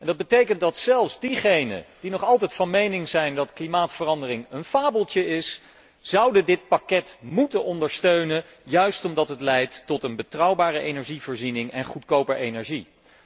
Dat betekent dat zelfs diegenen die nog altijd van mening zijn dat klimaatverandering een fabeltje is, dit pakket zouden moeten ondersteunen, juist omdat het leidt tot een betrouwbare energievoorziening en goedkope energie.